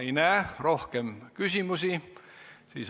Ma ei näe rohkem küsimusi.